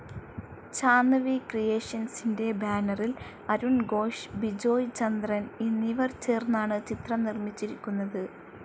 Chand V ക്രീയേഷന്സിൻ്റെ ബാനറിൽ അരുൺ ഘോഷ്, ബിജോയ് ചന്ദ്രൻ എന്നിവർ ചേർന്നാണ് ചിത്രം നിർമിച്ചിരിക്കുന്നത്.